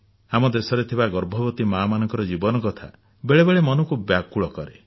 ଆମ ଦେଶରେ ଥିବା ଗର୍ଭବତୀ ମାଆମାନଙ୍କ ଜୀବନ କଥା ବେଳେ ବେଳେ ମନକୁ ବ୍ୟାକୁଳ କରେ